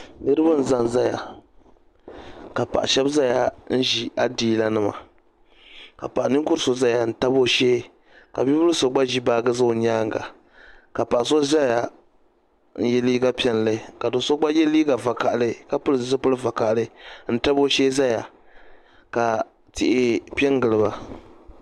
Niriba n zanzaya ka paɣa sheba zaya ha n ʒi adiila nima ka paɣa ninkuri so zaya n tabi o shee ka bibili so gba ʒi baagi za o nyaanga ka paɣa so zaya n ye liiga piɛlli ka do so gna ye liiga vakaɣali ka pili zipil'vakaɣali n tabi o shee zaya ka tihi piɛngili ba.